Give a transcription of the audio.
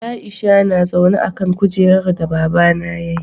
Aisha na zaune a'kan kujeran da baba na ya yi.